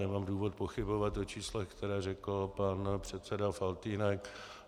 nemám důvod pochybovat o číslech, která řekl pan předseda Faltýnek.